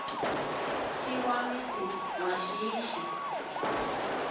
si wa misi wa shishi